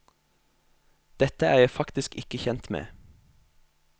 Dette er jeg faktisk ikke kjent med.